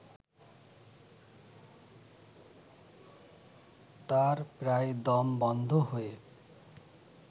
তার প্রায় দম বন্ধ হয়ে